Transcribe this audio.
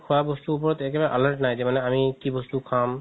খুৱা বস্তুৰ উপৰত একদম alert নাই যে আমি কি বস্তু খাম